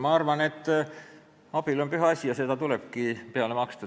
Ma arvan, et abielu on püha asi ja sellele tulebki peale maksta.